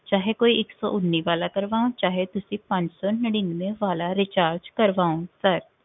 ਚਾਹੇ ਕੋਈ ਇੱਕ ਸੌ ਉਨੀ ਵਾਲਾ ਕਰਵਾਓ, ਚਾਹੇ ਪੰਜ ਸੌ ਨੜ੍ਹਿਨਵੇਂ ਵਾਲਾ recharge ਕਰਵਾਓ sir